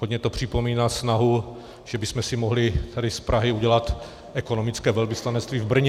Hodně to připomíná snahu, že bychom si mohli tady z Prahy udělat ekonomické velvyslanectví v Brně.